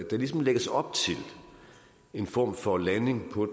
der ligesom lægges op til en form for landing på